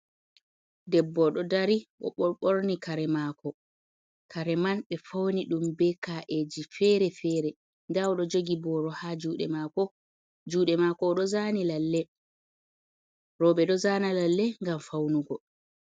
Debbo dó dari o bo bórni kare mako, kare man bé fauni dum be ka’eji fere-fere dá odó jogi boro ha jude mako, jude mako o dó zani lalleh. Robé dó zana lalleh gam faunugo.